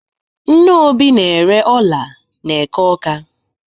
Nne Obi na-ere ọla n'eke Ọ́ká.